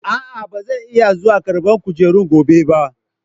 A'a, ba zan iya zuwa ƙarban kujerun gobe ba.